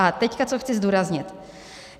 A teď co chci zdůraznit.